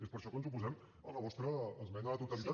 és per això que ens oposem a la vostra esmena a la totalitat